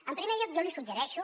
en primer lloc jo li suggereixo